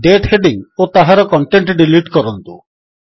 ଦାତେ heading ଓ ତାହାର content delete କରନ୍ତୁ